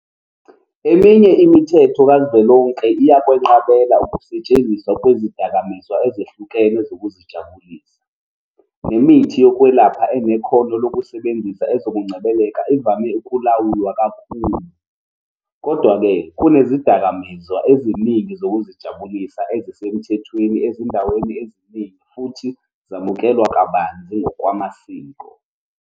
Eminye imithetho kazwelonke iyakwenqabela ukusetshenziswa kwezidakamizwa ezehlukene zokuzijabulisa, nemithi yokwelapha enekhono lokusebenzisa ezokungcebeleka ivame ukulawulwa kakhulu. Kodwa-ke, kunezidakamizwa eziningi zokuzijabulisa ezisemthethweni ezindaweni eziningi futhi zamukelwa kabanzi ngokwamasiko.